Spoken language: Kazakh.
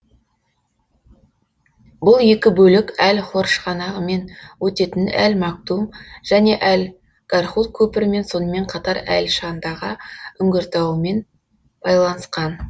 бұл екі бөлік әл хор шығанағымен өтетін әл мактум және әл гархуд көпірімен сонымен қатар әл шандага үңгіртауымен байланысқан